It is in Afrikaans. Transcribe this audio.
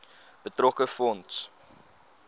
betrokke fonds